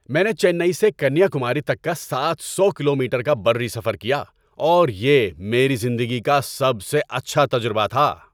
میں نے چنئی سے کنیا کماری تک کا سات سو کلومیٹر کا بَرّی سفر کیا اور یہ میری زندگی کا سب سے اچھا تجربہ تھا۔